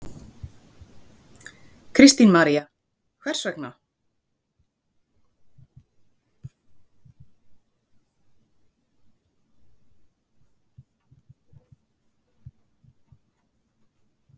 Kristín María: Hvers vegna?